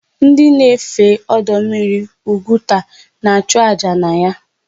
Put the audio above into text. Ndị na-efe ọdọmmiri Ugwuta na-achụ àjà na ya.